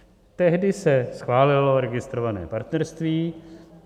Tehdy se schválilo registrované partnerství.